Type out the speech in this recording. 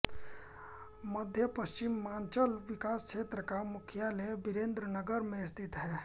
मध्यपश्चिमांचल विकास क्षेत्र का मुख्यालय बिरेन्द्रनगर में स्थित है